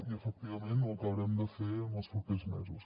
i efectivament ho acabarem de fer en els propers mesos